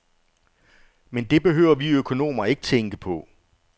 Men det behøver vi økonomer ikke tænke på.